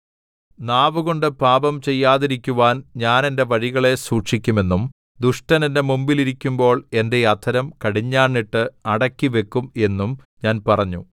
നാവ് കൊണ്ട് പാപം ചെയ്യാതിരിക്കുവാൻ ഞാൻ എന്റെ വഴികളെ സൂക്ഷിക്കുമെന്നും ദുഷ്ടൻ എന്റെ മുമ്പിൽ ഇരിക്കുമ്പോൾ എന്റെ അധരം കടിഞ്ഞാണിട്ട് അടക്കിവക്കും എന്നും ഞാൻ പറഞ്ഞു